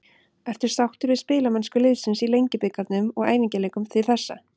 Ertu sáttur við spilamennsku liðsins í Lengjubikarnum og æfingaleikjum til þessa?